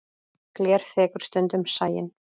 Gler þekur stundum sæinn.